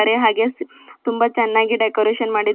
ಹಾಗೆ ಸ್ ತುಂಬಾ ಚೆನ್ನಾಗಿ ಡೆಕೋರೇಷನ್ ಮಾಡಿದ--